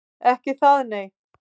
Ekki það nei.